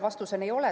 Vastus on: ei ole.